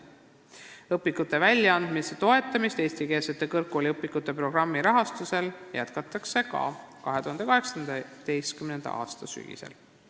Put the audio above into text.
Õpikute väljaandmise toetamist eestikeelsete kõrgkooliõpikute programmi rahastusega jätkatakse ka 2018. aasta sügisel.